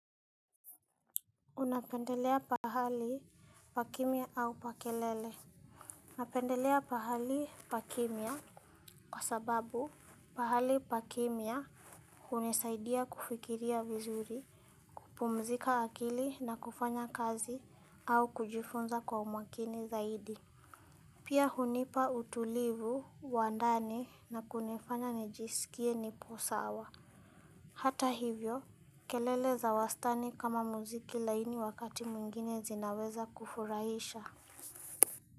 Unapendelea pahali pakimya au pa kelele? Napendelea pahali, pakimya kwa sababu pahali pakimya hunisaidia kufikiria vizuri. Kupumzika akili na kufanya kazi au kujifunza kwa umakini zaidi. Pia hunipa utulivu, wa ndani na kunifanya nijisikie nipo sawa. Hata hivyo, kelele za wastani kama muziki laini wakati mwingine zinaweza kufurahisha.